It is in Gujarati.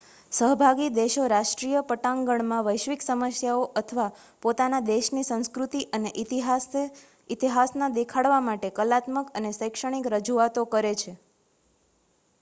સહભાગી દેશો રાષ્ટ્રીય પટાંગણમાં વૈશ્વિક સમસ્યાઓ અથવા પોતાનાં દેશની સંસ્કૃતિ અને ઇતિહાસના દેખાડવા માટે કલાત્મક અને શૈક્ષણિક રજૂઆતો કરે છે